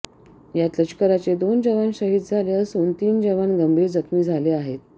यात लष्कराचे दोन जवान शहीद झाले असून तीन जवान गंभीर जखमी झाले आहेत